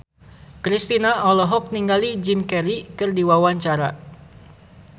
Kristina olohok ningali Jim Carey keur diwawancara